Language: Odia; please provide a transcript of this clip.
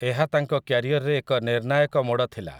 ଏହା ତାଙ୍କ କ୍ୟାରିଅରରେ ଏକ ନିର୍ଣ୍ଣାୟକ ମୋଡ଼ ଥିଲା ।